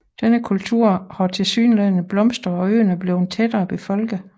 Denne kultur har tilsyneladende blomstret og øen er blevet tættere befolket